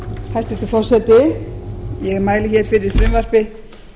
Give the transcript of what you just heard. hæstvirtur forseti ég mæli hér fyrir frumvarpi